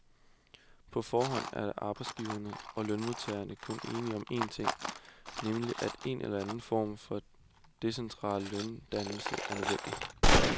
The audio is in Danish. På forhånd er arbejdsgiverne og lønmodtagerne kun enige om en ting, nemlig at en eller anden form for decentral løndannelse er nødvendig.